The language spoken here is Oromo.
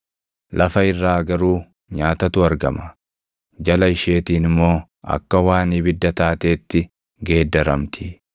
Lafa irraa garuu nyaatatu argama; jala isheetiin immoo akka waan ibidda taateetti geeddaramti;